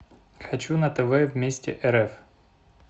хочу на тв вместе рф